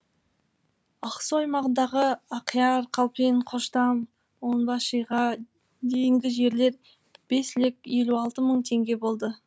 ақсу аймағындағы ақяр калпин қоштам онбашиға дейінгі жерлер бес лек елу алты мың теңге болды